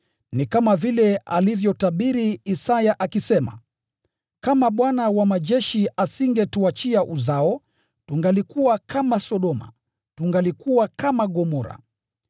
Ni kama vile alivyotabiri Isaya akisema: “Kama Bwana Mwenye Nguvu Zote asingelituachia uzao, tungelikuwa kama Sodoma, tungelifanana na Gomora.”